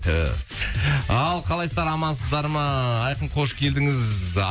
түү ал қалайсыздар амансыздар ма айқын қош келдіңіз